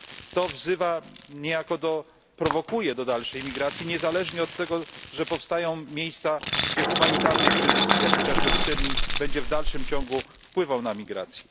To niejako prowokuje do dalszej emigracji, niezależnie od tego, że powstają miejsca, gdzie humanitarny kryzys, jak chociażby w Syrii, będzie w dalszym ciągu wpływał na emigrację.